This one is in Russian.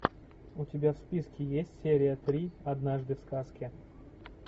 у тебя в списке есть серия три однажды в сказке